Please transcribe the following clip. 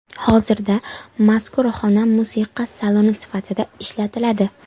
Hozirda mazkur xona musiqa saloni sifatida ishlatiladi.